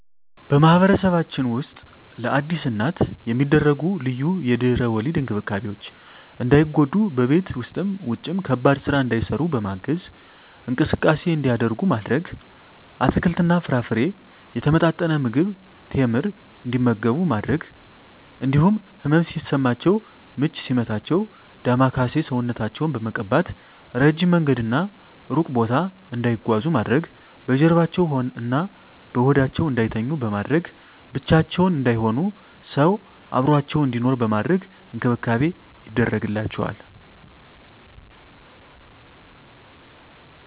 በማህበረሰባችን ውስጥ ለአዲስ እናት የሚደረጉ ልዩ የድህረ ወሊድ እንክብካቤዎች እንዳይጎዱ በቤት ውስጥም ውጭም ከባድ ስራ እንዳይሰሩ በማገዝ፣ እንቅስቃሴ እንዲያደርጉ ማድረግ፣ አትክልትና ፍራፍሬ፣ የተመጣጠነ ምግብ፣ ቴምር እንዲመገቡ በማድረግ እንዲሁም ህመም ሲሰማቸው ምች ሲመታቸው ዳማከሴ ሰውነታቸውን በመቀባት፣ እረጅም መንገድና እሩቅ ቦታ እንዳይጓዙ ማድረግ፣ በጀርባዋ እና በሆዳቸው እንዳይተኙ በማድረግ፣ ብቻቸውን እንዳይሆኑ ሰው አብሮአቸው እንዲኖር በማድረግ እንክብካቤ ይደረግላቸዋል።